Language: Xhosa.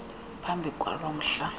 phambi kwalo mhla